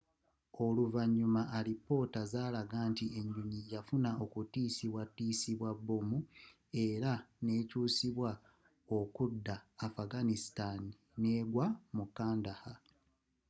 oluvanyuma alipoota zalaga nti enyonyi yafuna okutisibwa tisibwa bomu era n'ekyusibwa okudda afghanistan negwa mu kandahar